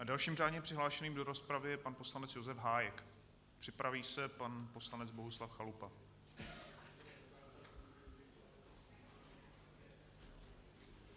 A dalším řádně přihlášeným do rozpravy je pan poslanec Josef Hájek, připraví se pan poslanec Bohuslav Chalupa.